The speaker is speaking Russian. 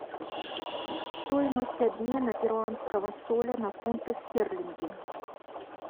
стоимость обмена перуанского соля на фунты стерлингов